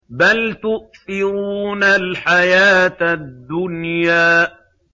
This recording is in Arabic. بَلْ تُؤْثِرُونَ الْحَيَاةَ الدُّنْيَا